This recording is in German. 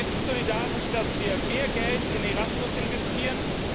Ist es solidarisch, dass wir mehr Geld in ERASMUS investieren?